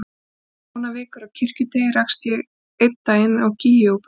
Eftir fáeinar vikur á Kirkjuteigi rakst ég einn daginn á Gígju og Búa.